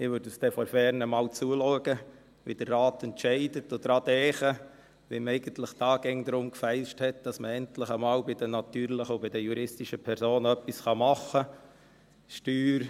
Ich werde von ferne zuschauen, wie der Rat entscheidet, und daran denken, wie man hier eigentlich immer darum gefeilscht hat, dass man bei den natürlichen und juristischen Personen endlich einmal etwas machen kann.